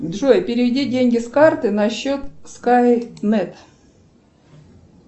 джой переведи деньги с карты на счет скайнет